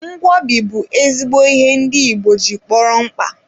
Ngwobi bụ ezigbo ihe ndị igbo ji kpọrọ mkpa.